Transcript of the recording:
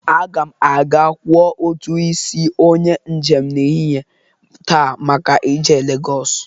Aga m aga kwọ ụtụ isi onye njem n'ehihe taa maka ije Legọs.